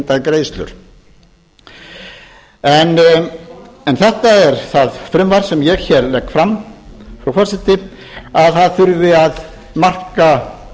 en magntengdum greiðslum en þetta er það frumvarp sem ég hér legg fram frú forseti að það þurfi að marka